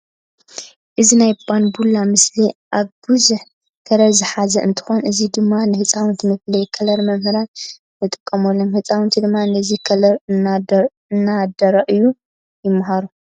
እዚ ናይ ባንቡላ ምስሊ እዚ ቡዙሕ ከለር ዝሓዘ እንትኮን እዚ ድማ ንህፃውንቲ መፍለይ ከለርን መምሃሪን ንጥቀመሎም። ህፃውንቲ ድማ ነዚ ከለት እነዳረአዩ ይማሃሩ።